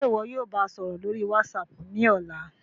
Ṣe iwọ yóò ba a sọrọ lori WhatsApp ni ọla?